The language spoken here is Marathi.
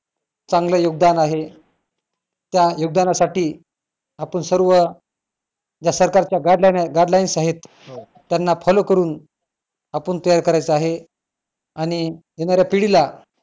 चांगलं योगदान आहे त्या योगदानासाठी आपण सर्व ज्या सरकारच्या guide line आहे guide lines आहेत त्यांना follow करून आपण तैयार करायचंय आहे आणि येणाऱ्या पिढीला